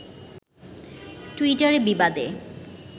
টুইটারে বিবাদে